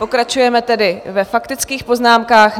Pokračujeme tedy ve faktických poznámkách.